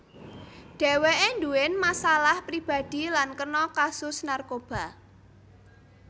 Dheweke nduwén masalah pribadi lan kena kasus narkoba